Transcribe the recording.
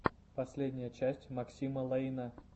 последняя часть максима лэйна